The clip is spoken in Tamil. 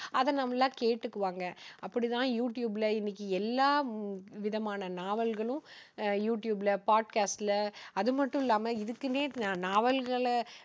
அதை நல்லா கேட்டுக்குவாங்க. அப்படித்தான் யூ டியூப்ல இன்னைக்கு எல்லாவிதமான நாவல்களும் அஹ் யூ டியூப்ல பாட்காஸ்ட்ல அதுமட்டுமில்லாம இதுக்குன்னே நாவல்களை